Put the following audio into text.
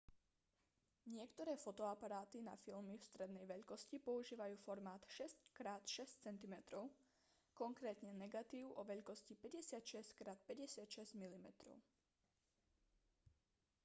niektoré fotoaparáty na filmy strednej veľkosti používajú formát 6x6 cm konkrétne negatív o veľkosti 56x56 mm